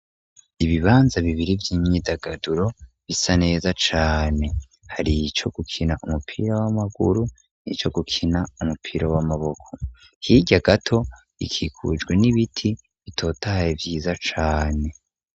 Ibibanza bibiri vy'imyidagaduro, bisa neza cane, hari ico gukina umupira w'Amaguru, nico gukina umupira w'Amaboko, hirya gato, ikikujwe n'ibiti bitotaye ,vyiza cane.